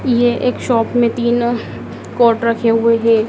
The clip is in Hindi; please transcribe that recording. ये एक शॉप में तीनों कोट रखे हुए है।